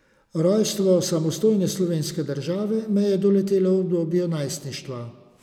Rojstvo samostojne slovenske države me je doletelo v obdobju najstništva.